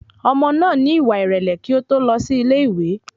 Ọmọ náà ní ìwà ìrẹ̀lẹ̀ kí ó tó lọ sí ilé ìwé